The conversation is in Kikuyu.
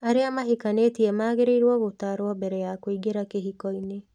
Arĩa mahikanĩtie magĩrĩirũo gutaarwo mbere ya kũingĩra kĩhiko-inĩ.